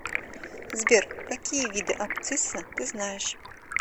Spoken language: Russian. сбер какие виды абцисса ты знаешь